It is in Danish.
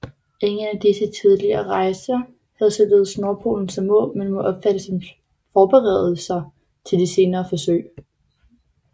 Ingen af disse tidlige rejser havde således nordpolen som mål men må opfattes som forberedelser til de senere forsøg